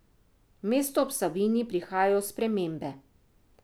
V mesto ob Savinji prihajajo spremembe.